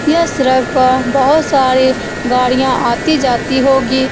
यह सड़क पर बहुत सारी गाड़ियां आती-जाती होगी।